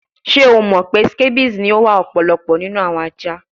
Ṣe o mọ pe scabies ni o wa ọpọlọpọ ninu awọn aja?